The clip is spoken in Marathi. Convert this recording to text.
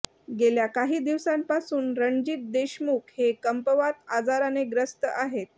गेल्या काही दिवसांपासून रणजित देसमुख हे कंपवात आजाराने ग्रस्त आहेत